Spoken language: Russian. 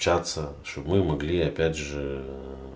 общаться чтобы мы могли опять же